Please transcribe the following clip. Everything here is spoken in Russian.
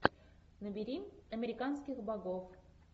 набери американских богов